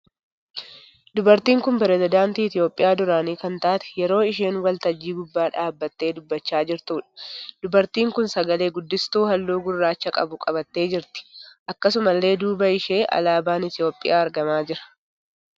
Dubartiin kun pirezadaantii Itiyoopiyaa duraanii kan taate yeroo isheen waltajjii gubbaa dhaabbattee dubbachaa jirtuudha. Dubartiin kun sagalee guddistuu halluu gurraacha qabu qabattee jirti. Akkasumalle duuba ishee alaabaan Itiyoopiyaa argamaa jira.